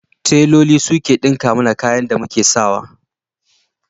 Teloli su suke ɗinka mana kayan da muk sa wa.